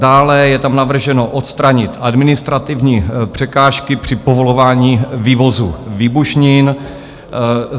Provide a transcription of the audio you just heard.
Dále je tam navrženo odstranit administrativní překážky při povolování vývozu výbušnin.